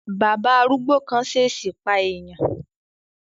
Bàbá arúgbó kan ṣesi pa eèyàn